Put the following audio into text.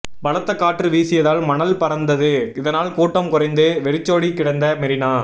பலத்த காற்று வீசியதால் மணல் பறந்தது இதனால் கூட்டம் குறைந்து வெறிச்சோடி கிடந்த மெரினா